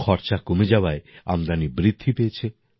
খরচা কমে যাওয়ায় আমদানি বৃদ্ধি পেয়েছে